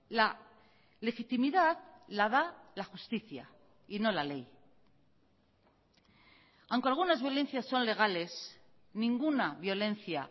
la legitimidad la da la justicia y no la ley aunque algunas violencias son legales ninguna violencia